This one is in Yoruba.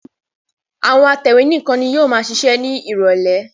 Àwọn atẹ̀wé nìkan ni yóò máa ṣiṣẹ́ ní ìrọ́lẹ́.